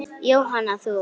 Jóhanna: Þú?